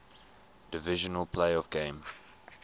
divisional playoff game